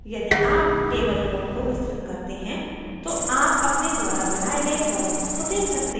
यदि आप table node को विस्तृत करते हैं तो आप अपने द्वारा बनाए गए columns को देख सकते हैं